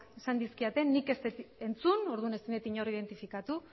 esan dizkidate nik ez dut entzun orduan ezin dut inor identifikatu